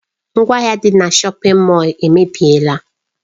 Ngwaahịa dị na shọpin Mọll emebiela.